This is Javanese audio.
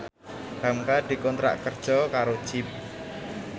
hamka dikontrak kerja karo Jeep